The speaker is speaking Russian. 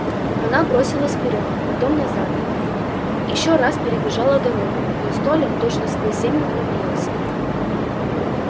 она бросилась вперёд потом назад ещё раз перебежала дорогу но столяр точно сквозь землю провалился